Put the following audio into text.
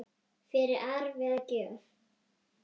fyrir arf eða gjöf.